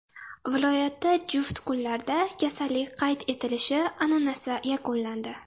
Viloyatda juft kunlarda kasallik qayd etilishi an’anasi yakunlandi.